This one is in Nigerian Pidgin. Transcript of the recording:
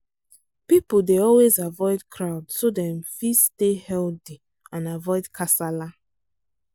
people dey always avoid crowd so dem fit stay healthy and avoid kasala